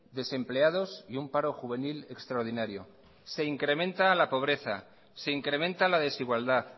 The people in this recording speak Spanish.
desempleados y un paro juvenil extraordinario se incrementa la pobreza se incrementa la desigualdad